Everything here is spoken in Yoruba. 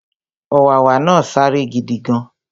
Ọ̀wàwà náà sáré gidigan